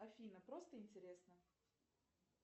афина просто интересно